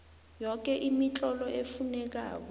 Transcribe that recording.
yoke imitlolo efunekako